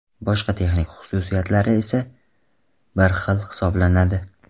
Boshqa texnik xususiyatlari esa bir xil hisoblanadi.